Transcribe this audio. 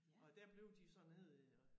Og dér blev de så nede øh